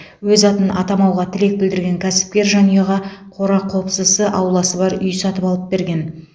өз атын атамауға тілек білдірген кәсіпкер жанұяға қора қопсысы ауласы бар үй сатып алып берген